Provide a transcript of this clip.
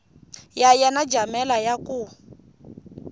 ya yena jamela ya ku